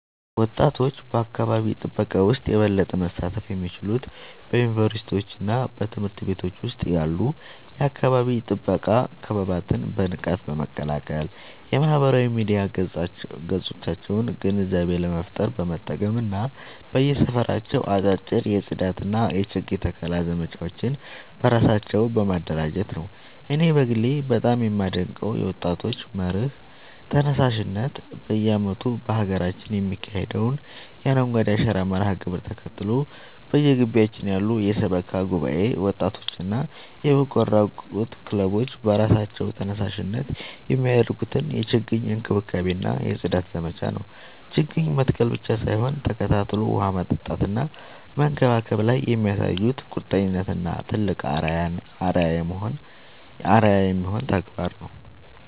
ወጣቶች በአካባቢ ጥበቃ ውስጥ የበለጠ መሳተፍ የሚችሉት በዩኒቨርሲቲዎችና በትምህርት ቤቶች ውስጥ ያሉ የአካባቢ ጥበቃ ክበባትን በንቃት በመቀላቀል፣ የማህበራዊ ሚዲያ ገጾቻቸውን ግንዛቤ ለመፍጠር በመጠቀም እና በየሰፈራቸው አጫጭር የጽዳትና የችግኝ ተከላ ዘመቻዎችን በራሳቸው በማደራጀት ነው። እኔ በግሌ በጣም የማደንቀው የወጣቶች መር ተነሳሽነት በየዓመቱ በሀገራችን የሚካሄደውን የአረንጓዴ አሻራ መርሃ ግብርን ተከትሎ፣ በየግቢያችን ያሉ የሰበካ ጉባኤ ወጣቶችና የበጎ አድራጎት ክለቦች በራሳቸው ተነሳሽነት የሚያደርጉትን የችግኝ እንክብካቤና የጽዳት ዘመቻ ነው። ችግኝ መትከል ብቻ ሳይሆን ተከታትሎ ውሃ ማጠጣትና መንከባከብ ላይ የሚያሳዩት ቁርጠኝነት ትልቅ አርአያ የሚሆን ተግባር ነው።